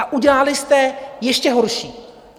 A udělali jste ještě horší.